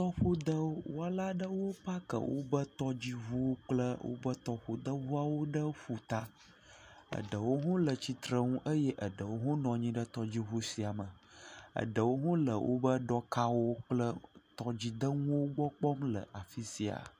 Tɔƒodɔwɔla aɖewo pake woƒe tɔdziŋuwo kple woƒe tɔƒodeŋuawo ɖe ƒuta. Eɖewo hã le tsitre nu eye eɖewo hã nɔ anyi ɖe tɔdziŋu sia me. Eɖewo hã le woƒe ɖɔkawo kple tɔdzidenuwo gbɔ kpɔm le afi sia.